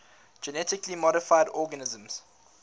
genetically modified organisms